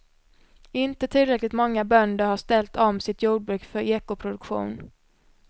Inte tillräckligt många bönder har ställt om sitt jordbruk för ekoproduktion.